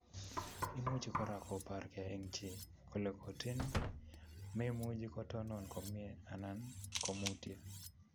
Imuch kora kopaarkei eng chii kole kotin, memuchi kotonon komie anan ko komutyo